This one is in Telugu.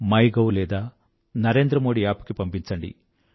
మైగోవ్ లేదాNarendraModiApp కి పంపించండి